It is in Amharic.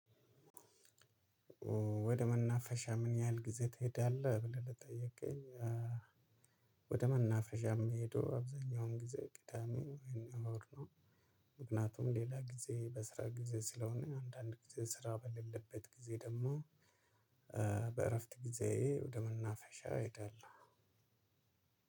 ወደ መናፈሻ ምን ያህል ጊዜ ትሄዳለህ ብለህ ለጠየከኝ? ወደ መናፍሻ የምሄደው አብዛኛውን ጊዜ ቅዳሜ ወይም እሁድ ነው። ምክንያቱም ሌላ ጊዜ በስራ ጊዜ ስለሆነ አንዳንድ ጊዜ ስራ በሌለበት ጊዜ ደግሞ በእረፍት ጊዜ ወደ መናፈሻ እሄዳለሁ።